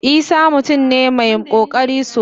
Isah mutum ne mai kokari sosai.